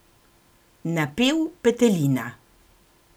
Napel petelina.